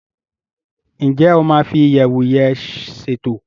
Njé o ma fi iyẹwu yén ṣètò?